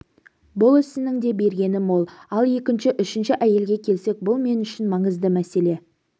бұл ісінің де бергені мол ал екінші үшінші әйелге келсек бұл мен үшін маңызды мәселе